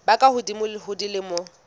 ba ka hodimo ho dilemo